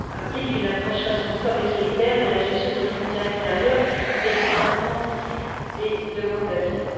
Cela implique une approche responsable et solidaire de la gestion de nos frontières extérieures et du traitement des demandes d'asile.